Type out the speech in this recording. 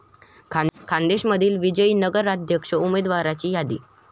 खान्देशमधील विजयी नगराध्यक्ष उमदेवाराची यादी